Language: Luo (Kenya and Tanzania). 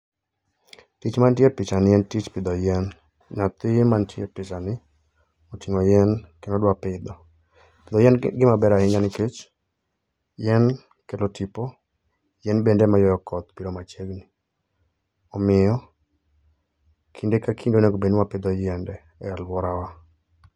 Tich mantie e picha ni en tich pidho yien. Nyathi mantie e picha ni oting'o yien, kendo odwa pidho. Pidho yien gima ber ahinya nikech, yien kelo tipo, yien bende ema yuayo koth biro machiegni. Omiyo, kinde ka kinde onego bedni wapidho yiende e alwora wa.